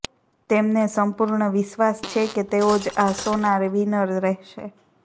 તેમને સમ્પૂર્ણ વિશ્વાસ છે કે તેઓ જ આ શોના વિનર રહેશે